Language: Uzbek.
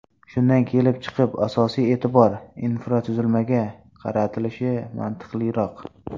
Shundan kelib chiqib, asosiy e’tibor infratuzilmaga qaratilishi mantiqliroq.